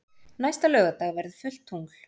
Næsta laugardag verður fullt tungl.